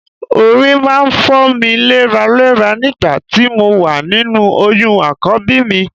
Orí máa ń fọ́ mi léraléra nígbà tí mo wà nínú oyún Àkọ́bí mi